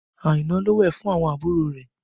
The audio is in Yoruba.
Aina ló wẹ̀ fún àwọn àbúrò rẹ̀